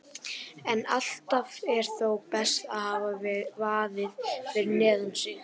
En alltaf er þó best að hafa vaðið fyrir neðan sig.